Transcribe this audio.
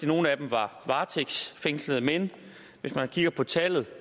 nogle af dem var varetægtsfængslede men hvis man kigger på tallet